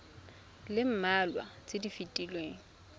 le mmalwa tse di fetileng